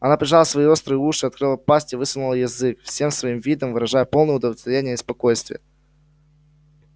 она прижала свои острые уши открыла пасть и высунула язык всем своим видом выражая полное удовлетворение и спокойствие